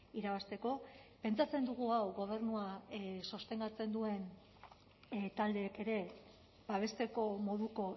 irabazteko pentsatzen dugu hau gobernua sostengatzen duten taldeek ere babesteko moduko